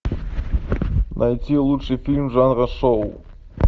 найти лучший фильм жанра шоу